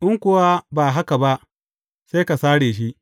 In kuwa ba haka ba, sai ka sare shi.’